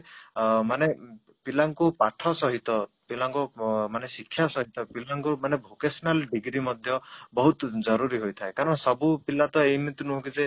ଅଂ ମାନେ ପିଲା ଙ୍କୁ ପାଠ ସହିତ ଅଂ ମାନେ ପିଲା ଙ୍କୁ ଶିକ୍ଷା ସହିତ ପିଲା ଙ୍କୁ ମାନେ vocational degree ମଧ୍ୟ ବହୁତ ଜରୁରୀ ହୋଇଥାଏ କାରଣ ସବୁ ପିଲା ତ ଏମିତି ନୁହଁ କି ଯେ